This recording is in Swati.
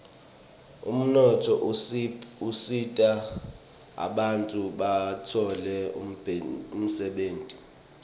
umnotfo usita bantfu batfole umdebenti